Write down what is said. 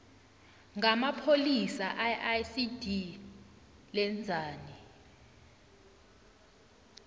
ngamapholisa iicd lenzani